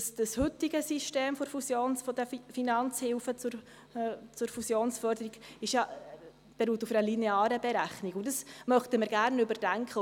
Das heutige System der Finanzhilfe zur Fusionsförderung beruht ja auf einer linearen Berechnung, und dies möchten wir gerne überdenken.